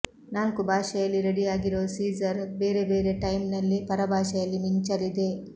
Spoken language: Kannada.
ನಾಲ್ಕು ಭಾಷೆಯಲ್ಲಿ ರೆಡಿಯಾಗಿರೋ ಸೀಜರ್ ಬೇರೆ ಬೇರೆ ಟೈಮ್ನಲ್ಲಿ ಪರಭಾಷೆಯಲ್ಲಿ ಮಿಂಚಲಿದೆ